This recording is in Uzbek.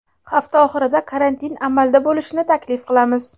hafta oxirida karantin amalda bo‘lishini taklif qilamiz.